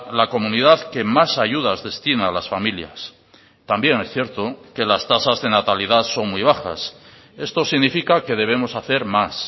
la comunidad que más ayudas destina a las familias también es cierto que las tasas de natalidad son muy bajas esto significa que debemos hacer más